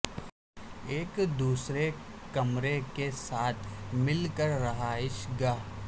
ایک دوسرے کمرے کے ساتھ مل کر رہائش گاہ